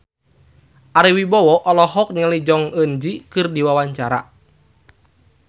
Ari Wibowo olohok ningali Jong Eun Ji keur diwawancara